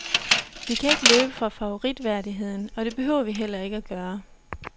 Vi kan ikke løbe fra favoritværdigheden, og det behøver vi heller ikke at gøre.